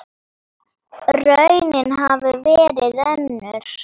Raunin hafi verið önnur.